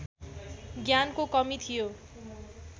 ज्ञानको कमी थियो